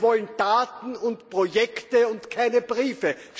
Wir wollen Taten und Projekte und keine Briefe.